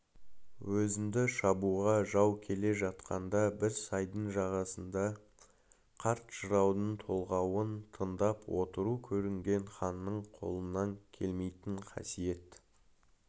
өзіңді шабуға жау келе жатқанда бір сайдың жағасында қарт жыраудың толғауын тыңдап отыру көрінген ханның қолынан келмейтін қасиет